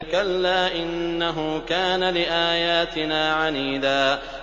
كَلَّا ۖ إِنَّهُ كَانَ لِآيَاتِنَا عَنِيدًا